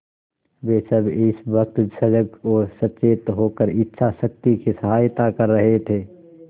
वे सब इस वक्त सजग और सचेत होकर इच्छाशक्ति की सहायता कर रहे थे